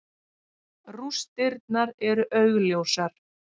Rústirnar eru augljósar.